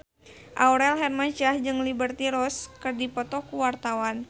Aurel Hermansyah jeung Liberty Ross keur dipoto ku wartawan